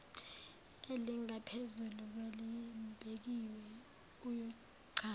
elingaphezulu kwelibekiwe uyochaza